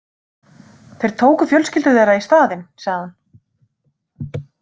Þeir tóku fjölskyldur þeirra í staðinn, sagði hún.